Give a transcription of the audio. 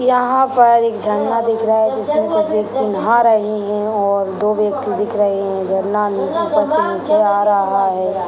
यहां पर एक झरना दिख रहा है जिसमें कुछ व्यक्ति नहा रहे हैं और दो व्यक्ति दिख रहे है झरना में ऊपर से नीचे आ रहा है।